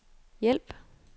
hjælp